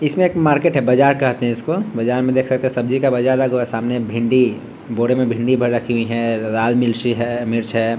इसमें एक मार्केट है बाजार कहते हैं इसको बाजार में देख सकते हैं सब्जी का बाजार लगा हुआ है जरा सामने भिंडी बोरे में भिंडी भर रखी हैं लाल मिर्ची है मिर्च है।